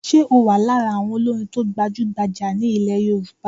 Ṣe o wà lára àwọn olórin to gbajugbajà ní ilẹ̀ Yorùbá?